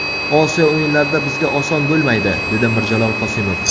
Osiyo o‘yinlarida bizga oson bo‘lmaydi”, dedi Mirjalol Qosimov.